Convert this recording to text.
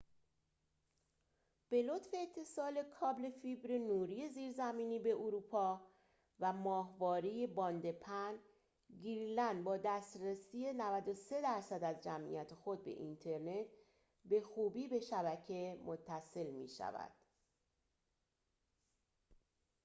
به لطف اتصال کابل فیبر نوری زیرزمینی به اروپا و ماهواره باند پهن، گرینلند با دسترسی 93٪ از جمعیت خود به اینترنت به خوبی به شبکه متصل می‌شود